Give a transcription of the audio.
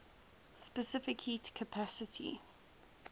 specific heat capacity